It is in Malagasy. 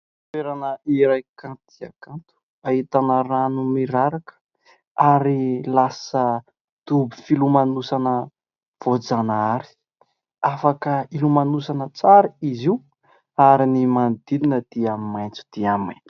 Toerana iray kanto dia kanto, ahitana rano miraraka ary lasa dobo filomanosana voajanahary. Afaka hilomanosana tsara izy io ary ny manodidina dia maitso dia maitso.